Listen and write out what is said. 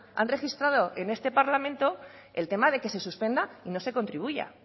han registrado en este parlamento el tema de que se suspenda y no se contribuya